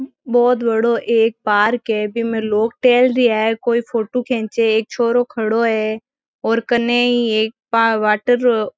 बोहोत बड़ो एक पार्क है वि में लोग टहलरिया है कोई फोटो खींचे एक छोरो खड़ो है और कने ई एक वाटर रो --